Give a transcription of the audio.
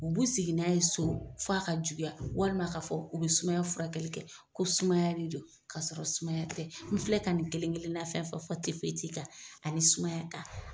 U b'u sIgi n'a ye so f'a ka juguya walima a ka fɔ u be sumaya furakɛli kɛ ko sumaya de don kasɔrɔ sumaya tɛ. N filɛ ka nin kelen-kelenna fɛn fɛn fɔ kan ani sumaya kan